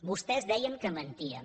vostès deien que mentíem